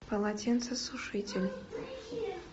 полотенцесушитель